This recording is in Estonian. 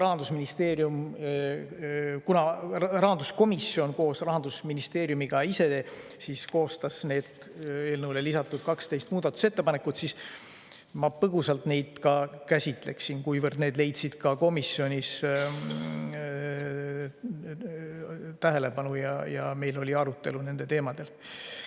Aga kuna rahanduskomisjon koos Rahandusministeeriumiga ise koostas need eelnõule lisatud 12 muudatusettepanekut, siis ma põgusalt neid käsitlen, kuivõrd need leidsid ka komisjonis tähelepanu ja meil oli nendel teemadel arutelu.